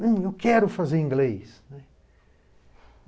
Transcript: Não, eu quero fazer inglês, né.